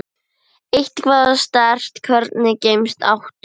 Eitthvað sterkt Hvernig gemsa áttu?